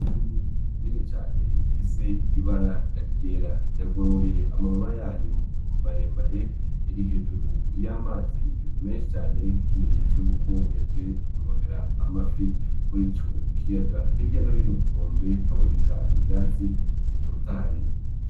Inyoni nini cane ifise ibara ryera yagoroye amababa yayo maremare iri hejuru y'amazi meshi cane nk'ikimenyetso yuko yaje kurondera amafi muri ico kiyaga, hirya no hino kunkombe haboneka ivyatsi bitotaye.